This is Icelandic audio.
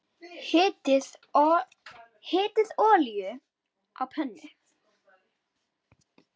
Hitið olíu á pönnu.